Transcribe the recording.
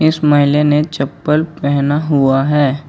इस महिले ने चप्पल पहना हुआ है।